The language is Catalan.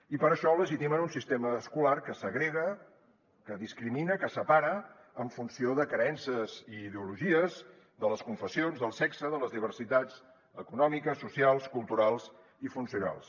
i per això legitimen un sistema escolar que segrega que discrimina que separa en funció de creences i ideologies de les confessions del sexe de les diversitats econòmiques socials culturals i funcionals